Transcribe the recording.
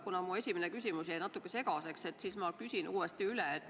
Kuna mu esimene küsimus jäi natuke segaseks, siis ma küsin uuesti üle.